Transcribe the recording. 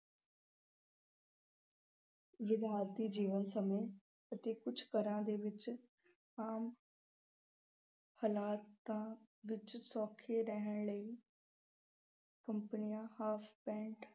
ਜੀਵਨ ਸਮੂਹ ਵਿੱਚ ਅਤੇ ਕੁਝ ਘਰਾਂ ਦੇ ਵਿੱਚ ਆਮ ਹਾਲਾਤਾਂ ਵਿੱਚ ਸੌਖੇ ਰਹਿਣ ਲਈ companies